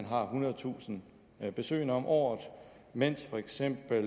har ethundredetusind besøgende om året mens for eksempel